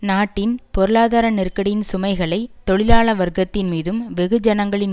நாட்டின் பொருளாதார நெருக்கடியின் சுமைகளை தொழிலாள வர்க்கத்தின் மீதும் வெகுஜனங்களின்